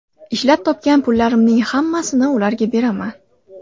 Ishlab topgan pullarimning hammasini ularga beraman”.